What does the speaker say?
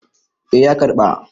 eh ya karɓa